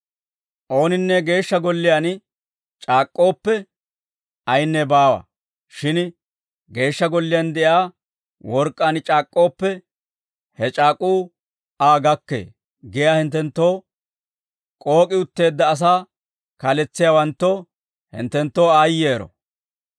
« ‹Ooninne Geeshsha Golliyaan c'aak'k'ooppe, ayinne baawa; shin Geeshsha Golliyaan de'iyaa work'k'aan c'aak'k'ooppe, he c'aak'uu Aa gakkee› giyaa hinttenttoo k'ook'i uttiide asaa kaaletsiyaawanttoo, hinttenttoo aayyero.